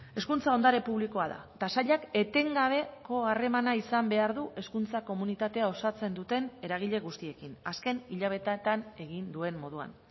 hezkuntza ondare publikoa da eta sailak etengabeko harremana izan behar du hezkuntza komunitatea osatzen duten eragile guztiekin azken hilabeteetan egin duen moduan